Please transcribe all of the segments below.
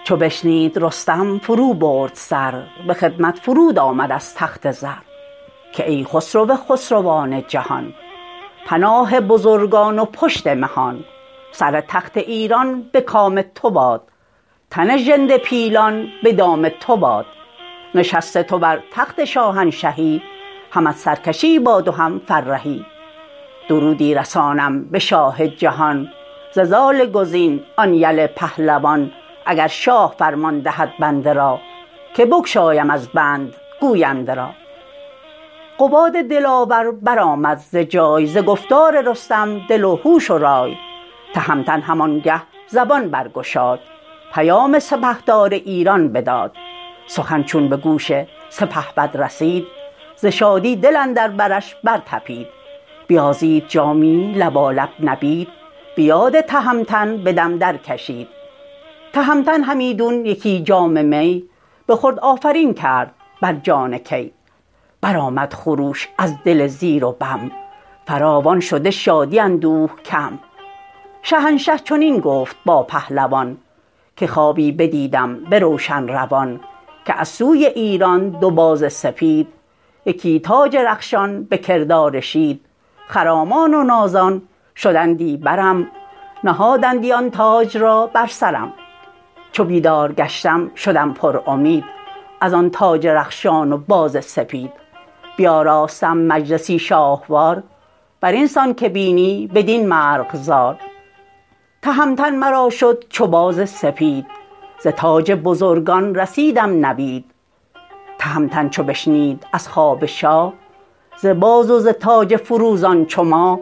ز ترکان طلایه بسی بد براه رسید اندر ایشان یل صف پناه برآویخت با نامداران جنگ یکی گرزه گاو پیکر به چنگ دلیران توران برآویختند سرانجام از رزم بگریختند نهادند سر سوی افراسیاب همه دل پر از خون و دیده پر آب بگفتند وی را همه بیش و کم سپهبد شد از کار ایشان دژم بفرمود تا نزد او شد قلون ز ترکان دلیری گوی پرفسون بدو گفت بگزین ز لشکر سوار وز ایدر برو تا در کوهسار دلیر و خردمند و هشیار باش به پاس اندرون نیز بیدار باش که ایرانیان مردمی ریمنند همی ناگهان بر طلایه زنند برون آمد از نزد خسرو قلون به پیش اندرون مردم رهنمون سر راه بر نامداران ببست به مردان جنگی و پیلان مست وزان روی رستم دلیر و گزین بپیمود زی شاه ایران زمین یکی میل ره تا به البرز کوه یکی جایگه دید برنا شکوه درختان بسیار و آب روان نشستنگه مردم نوجوان یکی تخت بنهاده نزدیک آب برو ریخته مشک ناب و گلاب جوانی به کردار تابنده ماه نشسته بران تخت بر سایه گاه رده برکشیده بسی پهلوان به رسم بزرگان کمر بر میان بیاراسته مجلسی شاهوار بسان بهشتی به رنگ و نگار چو دیدند مر پهلوان را به راه پذیره شدندش ازان سایه گاه که ما میزبانیم و مهمان ما فرود آی ایدر به فرمان ما بدان تا همه دست شادی بریم به یاد رخ نامور می خوریم تهمتن بدیشان چنین گفت باز که ای نامداران گردن فراز مرا رفت باید به البرز کوه به کاری که بسیار دارد شکوه نباید به بالین سر و دست ناز که پیشست بسیار رنج دراز سر تخت ایران ابی شهریار مرا باده خوردن نیاید به کار نشانی دهیدم سوی کیقباد کسی کز شما دارد او را به یاد سر آن دلیران زبان برگشاد که دارم نشانی من از کیقباد گر آیی فرود و خوری نان ما بیفروزی از روی خود جان ما بگوییم یکسر نشان قباد که او را چگونست رسم و نهاد تهمتن ز رخش اندر آمد چو باد چو بشنید از وی نشان قباد بیامد دمان تا لب رودبار نشستند در زیر آن سایه دار جوان از بر تخت خود برنشست گرفته یکی دست رستم به دست به دست دگر جام پر باده کرد وزو یاد مردان آزاده کرد دگر جام بر دست رستم سپرد بدو گفت کای نامبردار و گرد بپرسیدی از من نشان قباد تو این نام را از که داری به یاد بدو گفت رستم که از پهلوان پیام آوریدم به روشن روان سر تخت ایران بیاراستند بزرگان به شاهی ورا خواستند پدرم آن گزین یلان سر به سر که خوانند او را همی زال زر مرا گفت رو تا به البرز کوه قباد دلاور ببین با گروه به شاهی برو آفرین کن یکی نباید که سازی درنگ اندکی بگویش که گردان ترا خواستند به شادی جهانی بیاراستند نشان ار توانی و دانی مرا دهی و به شاهی رسانی ورا ز گفتار رستم دلیر جوان بخندید و گفتش که ای پهلوان ز تخم فریدون منم کیقباد پدر بر پدر نام دارم به یاد چو بشنید رستم فرو برد سر به خدمت فرود آمد از تخت زر که ای خسرو خسروان جهان پناه بزرگان و پشت مهان سر تخت ایران به کام تو باد تن ژنده پیلان به دام تو باد نشست تو بر تخت شاهنشهی همت سرکشی باد و هم فرهی درودی رسانم به شاه جهان ز زال گزین آن یل پهلوان اگر شاه فرمان دهد بنده را که بگشایم از بند گوینده را قباد دلاور برآمد ز جای ز گفتار رستم دل و هوش و رای تهمتن همانگه زبان برگشاد پیام سپهدار ایران بداد سخن چون به گوش سپهبد رسید ز شادی دل اندر برش برطپید بیازید جامی لبالب نبید بیاد تهمتن به دم درکشید تهمتن همیدون یکی جام می بخورد آفرین کرد بر جان کی برآمد خروش از دل زیر و بم فراوان شده شادی اندوه کم شهنشه چنین گفت با پهلوان که خوابی بدیدم به روشن روان که از سوی ایران دو باز سپید یکی تاج رخشان به کردار شید خرامان و نازان شدندی برم نهادندی آن تاج را بر سرم چو بیدار گشتم شدم پرامید ازان تاج رخشان و باز سپید بیاراستم مجلسی شاهوار برین سان که بینی بدین مرغزار تهمتن مرا شد چو باز سپید ز تاج بزرگان رسیدم نوید تهمتن چو بشنید از خواب شاه ز باز و ز تاج فروزان چو ماه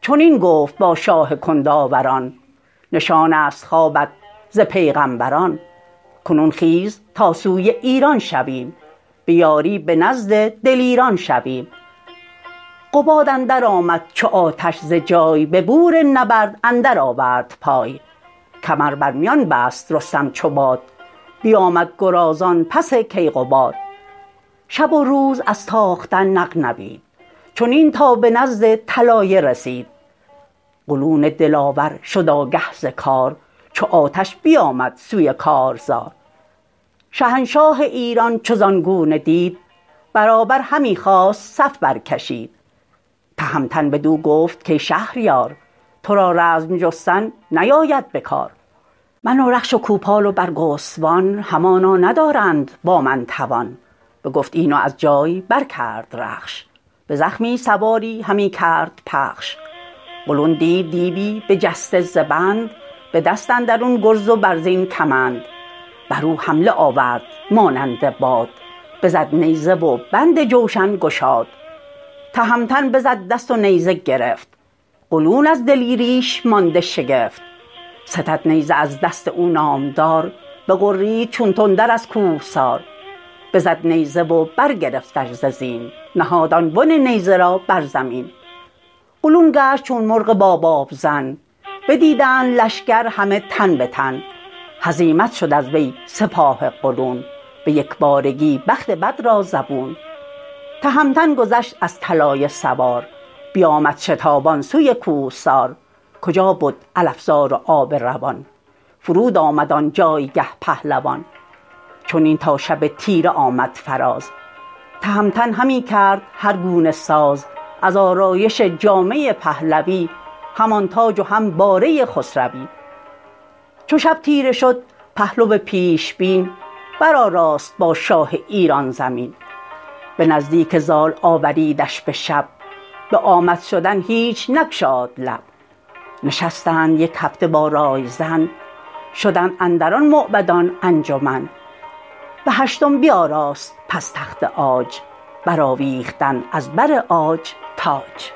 چنین گفت با شاه کنداوران نشانست خوابت ز پیغمبران کنون خیز تا سوی ایران شویم به یاری به نزد دلیران شویم قباد اندر آمد چو آتش ز جای ببور نبرد اندر آورد پای کمر برمیان بست رستم چو باد بیامد گرازان پس کیقباد شب و روز از تاختن نغنوید چنین تا به نزد طلایه رسید قلون دلاور شد آگه ز کار چو آتش بیامد سوی کارزار شهنشاه ایران چو زان گونه دید برابر همی خواست صف برکشید تهمتن بدو گفت کای شهریار ترا رزم جستن نیاید بکار من و رخش و کوپال و برگستوان همانا ندارند با من توان بگفت این و از جای برکرد رخش به زخمی سواری همی کرد پخش قلون دید دیوی بجسته ز بند به دست اندرون گرز و برزین کمند برو حمله آورد مانند باد بزد نیزه و بند جوشن گشاد تهمتن بزد دست و نیزه گرفت قلون از دلیریش مانده شگفت ستد نیزه از دست او نامدار بغرید چون تندر از کوهسار بزد نیزه و برگرفتش ز زین نهاد آن بن نیزه را بر زمین قلون گشت چون مرغ با بابزن بدیدند لشکر همه تن به تن هزیمت شد از وی سپاه قلون به یکبارگی بخت بد را زبون تهمتن گذشت از طلایه سوار بیامد شتابان سوی کوهسار کجا بد علفزار و آب روان فرود آمد آن جایگه پهلوان چنین تا شب تیره آمد فراز تهمتن همی کرد هرگونه ساز از آرایش جامه پهلوی همان تاج و هم باره خسروی چو شب تیره شد پهلو پیش بین برآراست باشاه ایران زمین به نزدیک زال آوریدش به شب به آمد شدن هیچ نگشاد لب نشستند یک هفته با رای زن شدند اندران موبدان انجمن بهشتم بیاراست پس تخت عاج برآویختند از بر عاج تاج